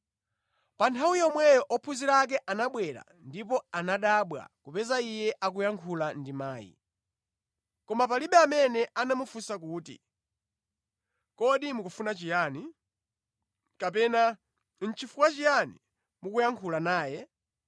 Pa nthawi yomweyo ophunzira ake anabwerera ndipo anadabwa kupeza Iye akuyankhula ndi mayi. Koma palibe amene anamufunsa kuti, “Kodi mukufuna chiyani?” kapena, “Nʼchifukwa chiyani mukuyankhula naye?”